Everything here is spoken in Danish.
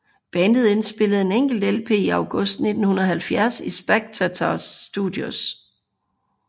Bandet indspillede en enkelt LP i August 1970 i Spectator Studios